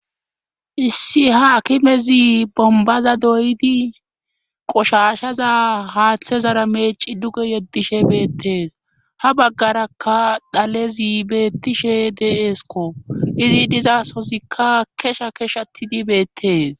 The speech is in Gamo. issi ha kimezi bombaza doydi qoshashaza haaththezara meeci duge yeddishe beettees ha baggaraka dhalezi beettishe de7eeskko izi dizasosikka kesha kesh atidi beettees